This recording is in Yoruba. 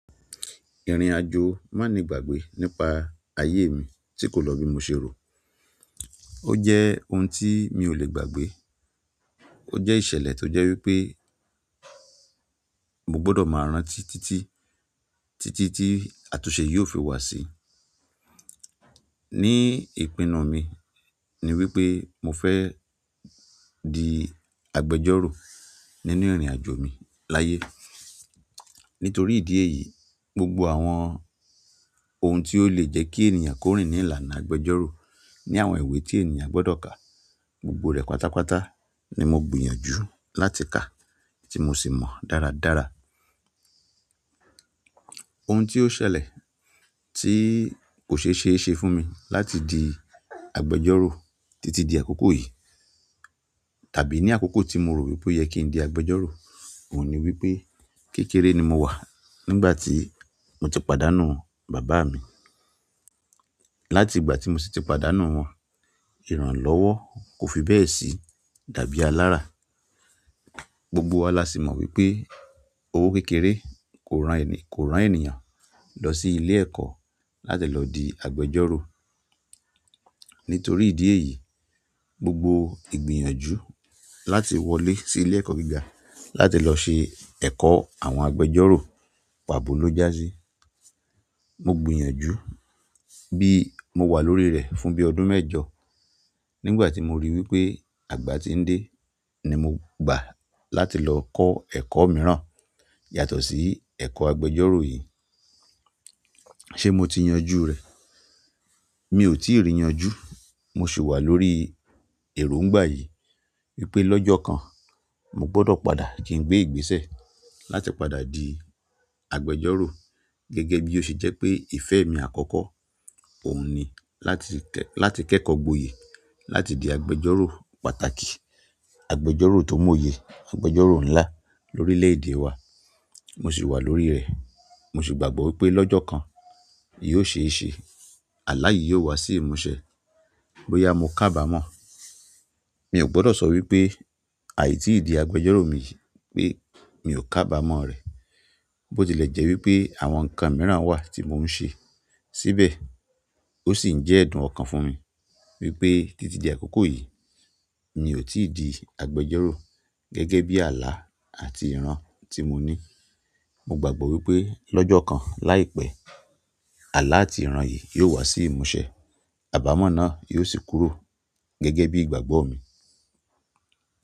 Ìrìnàjò máni gbàgbé nípa ayé mi tí kò lọ bí mo ṣe rò. Ó jẹ́ ohun tí mi ò lè gbàgbé. Ó jẹ́ ìṣẹ̀lẹ̀ tó jẹ́ wípé mo gbọ́dọ̀ máa rántí títí, títí tí àtúnṣe yóò fi wà sii. Ní ìpinnu mi ni wípé mo fẹ́ di agbẹjọ́rò nínú ìrìnàjò mi láyé. Nítorí ìdí èyí, gbogbo àwọn ohun tí ó lè jé kí ènìyàn kí ó rìn ní ìlànà agbẹjọ́rò ní àwọn ìwé tí èèyàn gbọ́dọ̀ kà, gbogbo rẹ̀ pátápátá ni mo gbìyànjú láti kà tí mo sì mọ̀ dáradára. Ohun tí ó ṣẹlẹ̀ tí kò ṣe é ṣe fún mi láti di agbẹjọ́rò títí di àkókò yìí tàbí ní àkókò tí mo rò wípé ó yẹ kí n di agbẹjọ́rò òun ni wípé kékeré ni mo wà nígbà tí mo ti pàdánù bàbá mi. Láti ìgbà tí mo sì ti pàdánù wọn, ìrànlọ́wọ́ kò fi bẹ́ẹ̀ sí dàbí alára. Gbogbo wa la sì mọ wípé owó kékeré kò rán ẹni, kò rán ènìyàn lọ sí ilé ẹ̀kọ́ láti lọ di agbẹjọ́rò. Nítorí ìdí èyí, gbogbo ìgbìyànjú láti wọlé sí ilé ẹ̀kọ́ gíga láti lọ ṣe ẹ̀kọ́ àwọn agbẹjọ́rò pàbo ló já sí. Mo gbìyànjú bí mo wà lórí rẹ̀ fún bí ọdún mẹ́jọ. Nígbà tí mo ríi wípé àgbà tí ń dé ni mo gbà láti lọ kọ́ ẹ̀kọ́ mìíràn yàtọ̀ sí ẹ̀kọ́ agbẹjọ́rò yìí. Ṣé mo ti yanjú rẹ̀? Mi ò tíì rì yanjú. Mo sì wà lórí èrò ńgbà yìí wípé lọ́jọ́ kan mo gbọ́dọ̀ padà kí n gbé ìgbésẹ̀ láti padà di. Agbẹjọ́rò gẹ́gẹ́ bí ó se jẹ́ pé ìfẹ́ mi àkọ́kọ́ òun ni láti kẹ́kọ̀ọ́ gboyè, láti di agbẹjọ́rò pàtàkì, agbẹjọ́rò tó mò ye, agbẹjọ́rò ńlá lórílèèdè wa. Mo sì wà lórí rẹ̀. Mo sì gbàgbọ́ wípé lọ́jọ́ kan yóò ṣe é ṣe. Àlá yìí yóò wá sí ìmúsẹ bóyá mo kábàmọ́ọ̀. Mi ò gbọ́dọ̀ sọ wípé àìtí ì di agbẹjọ́rò mi yìí pé mi ò kábàámọ̀ rẹ̀. Bó ti lè jẹ́ wípé àwọn nǹkan mìíràn wà tí mò ń ṣe síbẹ̀ sì ń jẹ́ ẹ̀dùn ọkàn fún mi wípé títí di àkókò yìí, mi ò tíì di agbẹjọ́rò. Gẹ́gẹ́ bí àlá àti ìran tí mo ní. Mo gbàgbọ́ wípé lọ́jọ́ kan láìpẹ́ àlá àti ìran yìí yóò wá sí ìmúṣẹ. Àbámọ̀ náà yóò sì kúrò gẹ́gẹ́ bí ìgbàgbọ́ mi.